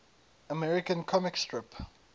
american comic strip